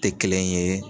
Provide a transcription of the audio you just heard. Tɛ kelen ye